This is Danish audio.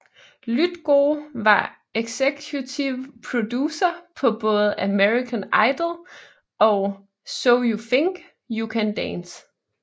Lythgoe var executive producer på både American Idol og So You Think You Can Dance